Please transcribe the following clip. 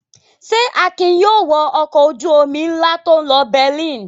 Ṣé Akin yóò wọ ọkọ̀ ojú-omi ńlá tó ń lọ Berlin?